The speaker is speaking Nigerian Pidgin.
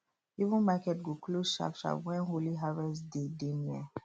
even market go close sharpsharp when holy harvest day dey near